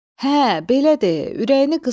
Hə, belə de.